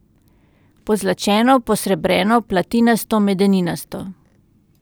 Pozlačeno, posrebreno, platinasto, medeninasto.